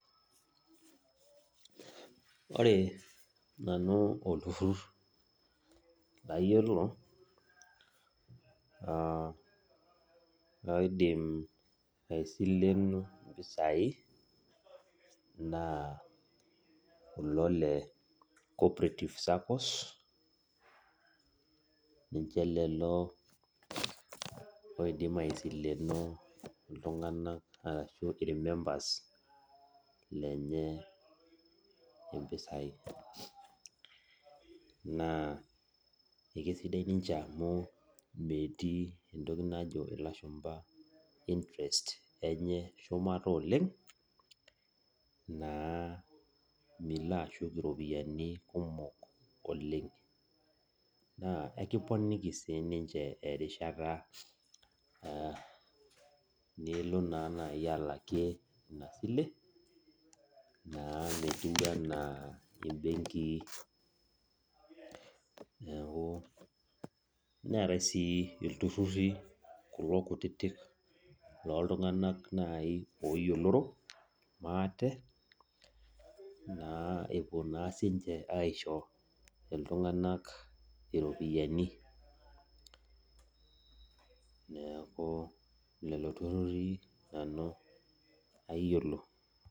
Ore nanu olturrur layiolo oidim aisilenu impisai, naa kulo le cooperative Saccos, ninche lelo oidim aisileno iltung'anak arashu irmemba lenye impisai. Naa ekesidai amu metii entoki najo ilashumpa interest enye shumata oleng, naa milo ashuk iropiyiani kumok oleng. Naa ekiponiki si ninche erishata nilo naa nai alakie inasile, naa metiu inche enaa ibenkii. Neeku, neetae si ilturrurri kulo kutitik loltung'anak nai oyioloro maate, naa epuo naa sinche aisho iltung'anak iropiyiani. Neeku lelo turrurri nanu ayiolo.